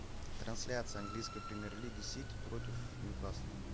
трансляция английской премьер лиги сити против ньюкасла